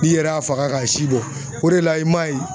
N'i yɛrɛ y'a faga k'a si bɔ o de la i ma ye